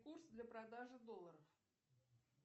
курс для продажи долларов